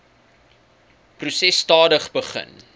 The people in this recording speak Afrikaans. proses stadig begin